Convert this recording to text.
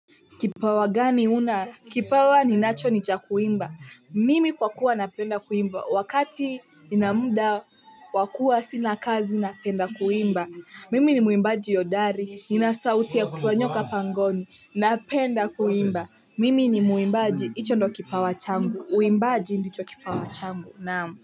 Kipawa gani una? Kipawa ninacho ni cha kuimba, mimi kwa kuwa napenda kuimba, wakati nina muda wa kuwa sina kazi napenda kuimba, mimi ni mwimbaji hodari, nina sauti ya kutoa nyoka pangoni, napenda kuimba, mimi ni mwimbaji hicho ndo kipawa changu, uimbaji ndicho kipawa changu.